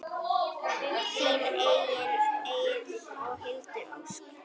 Þín Egill og Hildur Ósk.